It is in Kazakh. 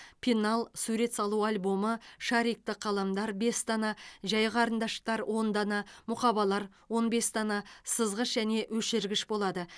пенал сурет салу альбомы шарикті қаламдар бес дана жай қарындаштар он дана мұқабалар он бес дана сызғыш және өшіргіш болады